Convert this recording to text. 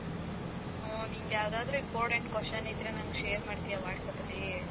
ಹ್ಮ್, ನಿನಗ್ ಯಾವದಾದ್ರು important question ಇದ್ರೆ ನಂಗ್ share ಮಾಡ್ತೀಯಾ WhatsApp ಅಲ್ಲಿ?